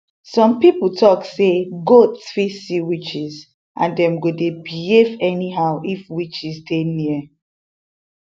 some people talk say goats fit see witches and dem go dey behave anyhow if witches dey near